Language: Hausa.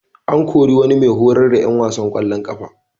An kori wani mai horar da ƴan wasan ƙwallon ƙafa.